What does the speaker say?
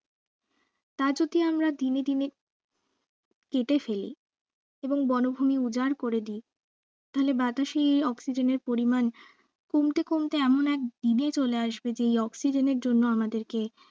তা যদি আমরা দিনে দিনে কেটে ফেলি এবং বনভূমি উজাড় করে দেই তাহলে বাতাসে এই oxygen এর পরিমান কমতে কমতে এমন এক দিনে চলে আসবে যে এই oxygen এর জন্য আমাদেরকে